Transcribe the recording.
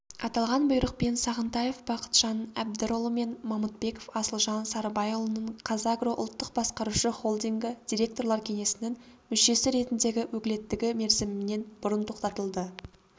аталған бұйрықпен сағынтаев бақытжан әбдірұлы мен мамытбеков асылжан сарыбайұлының қазагро ұлттық басқарушы холдингі директорлар кеңесінің мүшесі ретіндегі өкілеттігі мерзімінен бұрын тоқтатылды